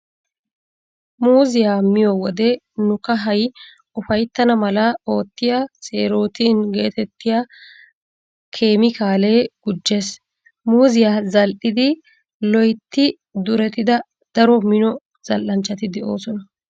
Muuziya miyo wode nu kahay ufayttana mala oottiya "seerootin" geetettiya keemikaalee gujjees. Muuziya zal'idi loytti durettida daro mino zal'anchchati de"oosona.